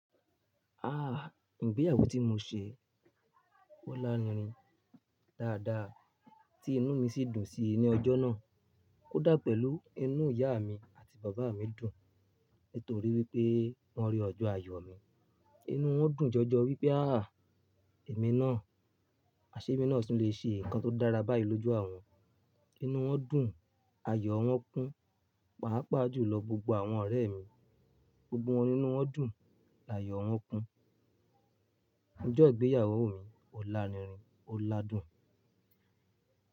Ah! Ìgbéyàwó tí mo ṣe, ó larinrin dáadáa, tí inú mi ṣì dùn síi ní ọjọ́ náà. Ó dà pẹ̀lú inú ìyá mi àti bàbá mi dùn, nítorí wípé wọ́n rí ọjọ́ ayọ̀ mi. Inú wọn dùn jọjọ wípé ah! Èmi náà, aṣemi náà sì lè ṣe nǹkan tó dára báyìí lójú àwọn. Inú wọn dùn, ayọ̀ wọn kún, pàápàá jùlọ gbogbo àwọn ọ̀rẹ́ mi. Gbogbo wọn ní inú wọn dùn, àyọ̀ wọn kún. Ọjọ́ ìgbéyàwó mi ó larinrin, ó ládùn.